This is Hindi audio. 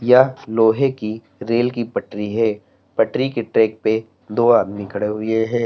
यह लोहे की रेल की पटरी है पटरी के ट्रैक पे दो आदमी खड़े हुए हैं।